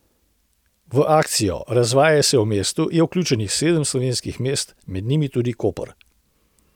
V akcijo Razvajaj se v mestu je vključenih sedem slovenskih mest, med njimi tudi Koper.